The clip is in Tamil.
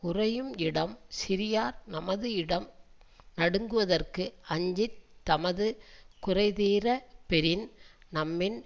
உறையும் இடம் சிறியார் தமது இடம் நடுங்குதற்கு அஞ்சி தமது குறைதீரப் பெறின் தம்மின்